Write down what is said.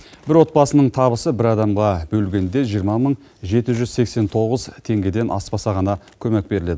бір отбасының табысы бір адамға бөлгенде жиырма мың жеті жүз сексен тоғыз теңгеден аспаса ғана көмек беріледі